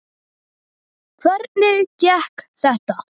Hvernig gekk þetta?